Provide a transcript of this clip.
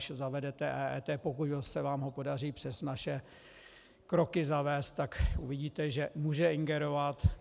Až zavedete EET, pokud se vám ho podaří přes naše kroky zavést, tak uvidíte, že může ingerovat.